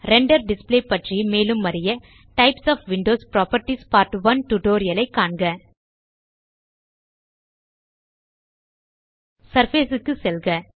render display பற்றி மேலும் அறிய types of windows properties part 1 tutorial ஐ காண்க சர்ஃபேஸ் க்கு செல்க